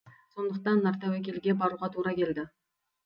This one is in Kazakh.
сондықтан нартәуекелге баруға тура келді